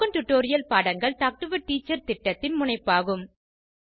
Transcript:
spoken tutorial பாடங்கள் talk to a teacher திட்டத்தின் முனைப்பாகும்